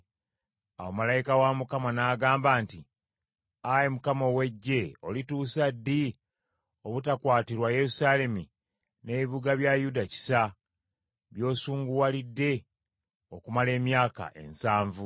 Awo malayika wa Mukama n’agamba nti, “Ayi Mukama ow’Eggye, olituusa ddi obutakwatirwa Yerusaalemi n’ebibuga bya Yuda kisa, by’osunguwalidde okumala emyaka ensanvu?”